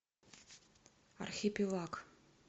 архипелаг